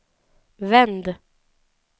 vänd